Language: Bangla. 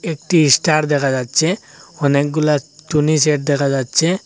একটি স্টার দেখা যাচ্ছে অনেকগুলা টুনিসেড দেখা যাচ্ছে।